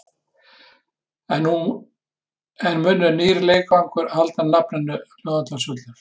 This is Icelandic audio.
En mun nýr leikvangur halda nafninu Laugardalsvöllur?